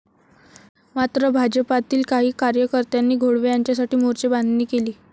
मात्र भाजपातील काही कार्यकर्त्यांनी घोळवे यांच्यासाठी मोर्चेबांधणी केली.